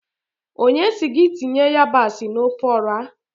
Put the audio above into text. Onye si gị tinye yabasị na ofe Ọra?